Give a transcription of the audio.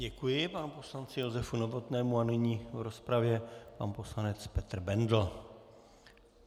Děkuji panu poslanci Josefu Novotnému a nyní v rozpravě pan poslanec Petr Bendl.